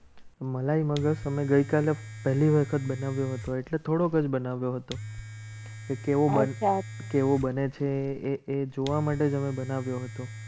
મલાઈ મગર તમે ગઈકાલે પહેલી વખત બનાવ્યો હતો એટલે થોડોક જ બનાવ્યો હતો. એ કેવો બનતા કેવું બને છે. એ જોવા માટે તમે બનાવ્યો હતો.